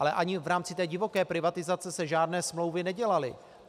Ale ani v rámci té divoké privatizace se žádné smlouvy nedělaly.